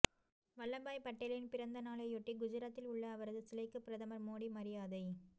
வல்லபாய் பட்டேலின் பிறந்தநாளையொட்டி குஜராத்தில் உள்ள அவரது சிலைக்கு பிரதமர் மோடி மரியாதை